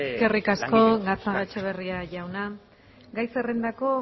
eskerrik asko gatzagaetxebarria jauna gai zerrendako